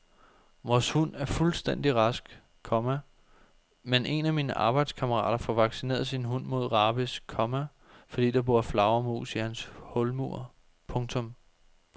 Vores hund er fuldstændig rask, komma men en af mine arbejdskammerater får vaccineret sin hund mod rabies, komma fordi der bor flagermus i hans hulmur. punktum